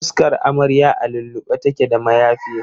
Fuskar amaryar a lullube take da mayafi.